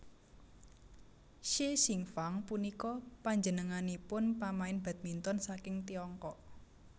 Xie Xingfang punika panjenenganipun pamain badminton saking Tiongkok